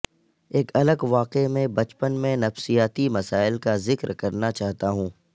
ایک الگ واقعے میں بچپن میں نفسیاتی مسائل کا ذکر کرنا چاہتا ہوں